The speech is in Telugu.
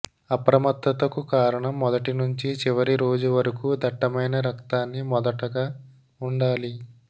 అప్రమత్తతకు కారణం మొదటి నుంచి చివరి రోజు వరకు దట్టమైన రక్తాన్ని మొదటగా ఉండాలి